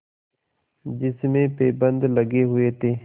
जिसमें पैबंद लगे हुए थे